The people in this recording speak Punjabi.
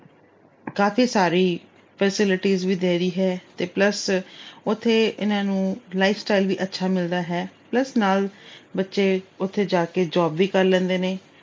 ਕਾਫੀ ਸਾਰੀ facilities ਵੀ ਦੇ ਰਹੀ ਹੈ ਤੇ plus ਉੱਥੇ ਇਹਨਾਂ ਨੂੰ lifestyle ਵੀ ਅੱਛਾ ਮਿਲਦਾ ਹੈ। plus ਨਾਲ ਬੱਚੇ ਉਥੇ ਜਾ ਕੇ job ਵੀ ਕਰ ਲੈਂਦੇ ਨੇ।